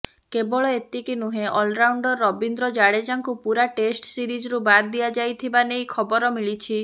କେବଳ ଏତିକି ନୁହେଁ ଅଲରାଉଣ୍ଡର ରବିନ୍ଦ୍ର ଜାଡେଜାଙ୍କୁ ପୁରା ଟେଷ୍ଟ ସିରିଜରୁ ବାଦ୍ ଦିଆଯାଇଥିବା ନେଇ ଖବର ମିଳିଛି